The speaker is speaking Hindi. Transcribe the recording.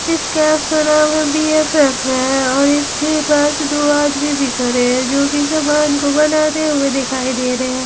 इस कैप का नाम है बी_एफ_एफ है और इसके पास दो आदमी दिखा रहे हैं जो कि सामान को बनाते हुए दिखाई दे रहे हैं।